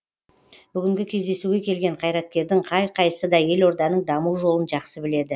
бүгінгі кездесуге келген қайраткердің қай қайсысы да елорданың даму жолын жақсы біледі